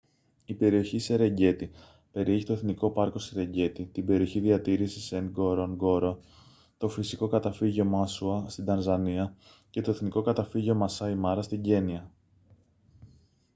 η περιοχή σερενγκέτι περιέχει το εθνικό πάρκο σερενγκέτι την περιοχή διατήρησης νγκορονγκόρο το φυσικό καταφύγιο μάσουα στην τανζανία και το εθνικό καταφύγιο μασάι μάρα στην κένυα